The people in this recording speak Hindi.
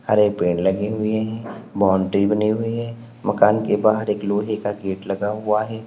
हरे पेड़ लगे हुए है बाउंड्री बनी हुई है मकान के बाहर एक लोहे का गेट लगा हुआ है।